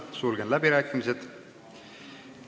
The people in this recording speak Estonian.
Sulgen läbirääkimised.